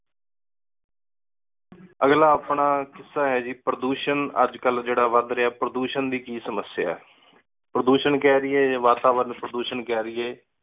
ਅਗਲਾ ਆਪਣਾ ਕਿਸ੍ਸਾ ਹੈ ਗੀ ਪ੍ਰਦੂਸ਼ਣ ਅਜਕਲ ਜੇਡਾ ਵਧ ਰੇਯਾ ਹੈ ਪ੍ਰਦੂਸ਼ਣ ਦੀ ਕਿ ਸਮਸਯਾ ਹੈ। ਪ੍ਰਦੂਸ਼ਣ ਕਹਿ ਦੀਏ ਜਾ ਵਾਤਾਵਰਨ ਪ੍ਰਦੂਸ਼ਣ ਕਹਿ ਦੀਏ।